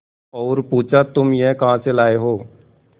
और पुछा तुम यह कहा से लाये हो